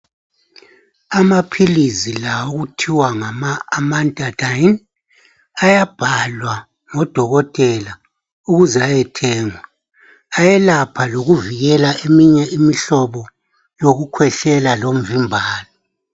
Amaphilizi la okuthiwa ngamaAmantadine ayabhalwa ngodokotela ukuze ayethengwa ayelapha lokuvikela eminye imihlobo yokukhwehlela lomvimbano.